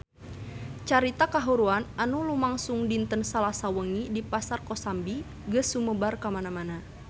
Carita kahuruan anu lumangsung dinten Salasa wengi di Pasar Kosambi geus sumebar kamana-mana